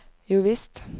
jovisst